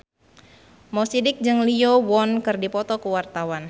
Mo Sidik jeung Lee Yo Won keur dipoto ku wartawan